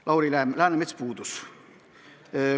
Lauri Läänemets puudus.